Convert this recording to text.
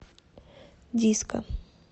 диско